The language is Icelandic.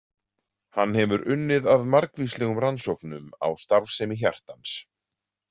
Hann hefur unnið að margvíslegum rannsóknum á starfsemi hjartans.